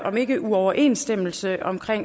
om ikke uoverensstemmelse